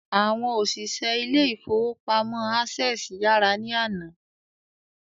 Àwọn òṣìṣẹ́ ilé ìfọwọ́pamo Access yàrá ní àná.